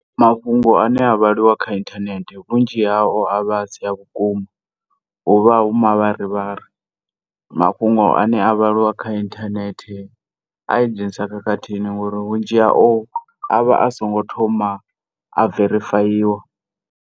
Mafhungo ane a vhaliwa kha inthanethe vhunzhi hao avha asi a vhukuma huvha hu mavharivhari. Mafhungo ane a vhaliwa kha inthanethe aya dzhenisa khakhathini ngori vhunzhi hao avha asongo thoma a verifayiwa.